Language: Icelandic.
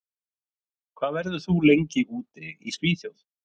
Hvað verður þú lengi úti í Svíþjóð?